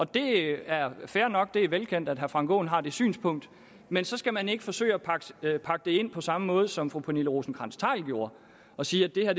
det er fair nok det er velkendt at herre frank aaen har det synspunkt men så skal man ikke forsøge at pakke det ind på samme måde som fru pernille rosenkrantz theil gjorde og sige at det her